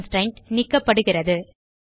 constraint நீக்கப்படுகிறது